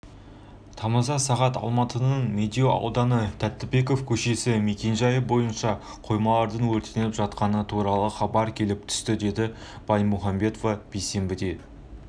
тамызда сағат деалматының тетігінемедеу ауданы тәттібеков көшесі мекенжайы бойынша қоймалардың өртеніп жатқаны туралы хабар келіп түсті деді баймухамбетова бейсенбіде